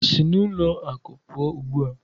Si n'ụlọ akụ pụọ ugbu a